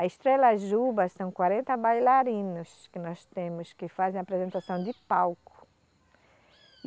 A Estrela Juba são quarenta bailarinos que nós temos, que fazem apresentação de palco.